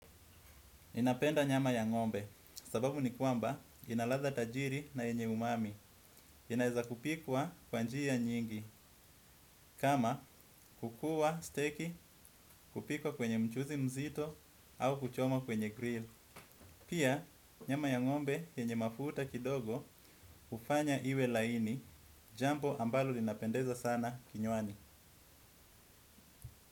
Ninapenda nyama ya ng'ombe sababu ni kwamba ina ladha tajiri na yenye umami. Inaeza kupikwa kwa njia nyingi. Kama, kukua steki, kupikwa kwenye mchuzi mzito au kuchoma kwenye 'grill'. Pia, nyama ya ng'ombe yenye mafuta kidogo, hufanya iwe laini. Jambo ambalo linapendeza sana kinywani.